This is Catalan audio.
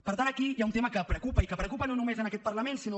per tant aquí hi ha un tema que preocupa i que preocupa no només aquest parlament sinó